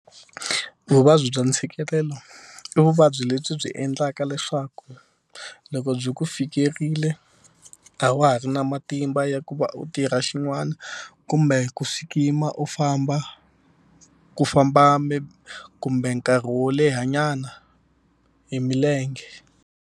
Vuvabyi bya ntshikelelo i vuvabyi lebyi byi endlaka leswaku loko byi ku fikerile a wa ha ri na matimba ya ku va u tirha xin'wana kumbe ku sukuyima u famba ku famba maybe kumbe nkarhi wo lehanyana hi milenge.